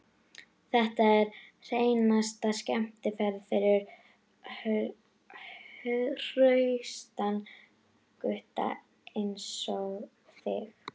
Þetta er hreinasta skemmtiferð fyrir hraustan gutta einsog þig.